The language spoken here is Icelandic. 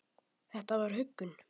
Þetta var huggun.